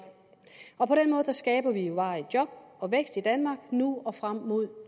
og på den måde skaber vi jo varige job og vækst i danmark nu og frem mod